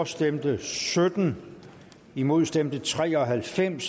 stemte sytten imod stemte tre og halvfems